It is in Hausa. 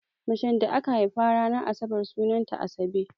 Macen da aka haifa ranar asabar sunanta Asabe.